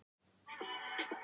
Orkulögmálið sá um sitt.